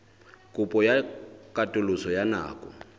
kopo ya katoloso ya nako